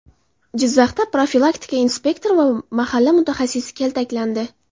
Jizzaxda profilaktika inspektori va mahalla mutaxassisi kaltaklandi.